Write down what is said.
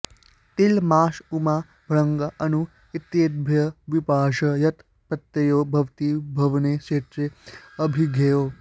तिल माष उमा भङ्गा अणु इत्येतेभ्यः विभाषा यत् प्रत्ययो भवति भवने क्षेत्रे ऽभिधेये